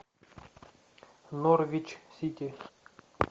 норвич сити